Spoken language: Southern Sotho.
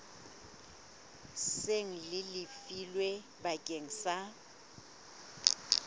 seng le lefilwe bakeng sa